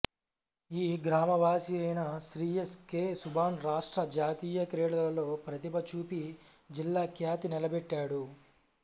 ఈ గ్రామవాసి అయిన శ్రీ ఎస్ కె సుభాన్ రాష్ట్ర జాతీయ క్రీడలలో ప్రతిభ చూపి జిల్లా ఖ్యాతి నిలబెట్టాడు